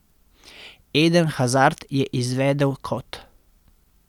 Eden Hazard je izvedel kot.